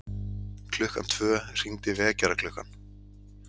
Klukkan tvö hringdi vekjaraklukkan.